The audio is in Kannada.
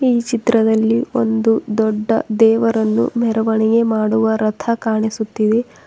ಈ ಚಿತ್ರದಲ್ಲಿ ಒಂದು ದೊಡ್ಡ ದೇವರನ್ನು ಮೆರವಣಿಗೆ ಮಾಡುವ ರಥ ಕಾಣಿಸುತ್ತಿವೆ.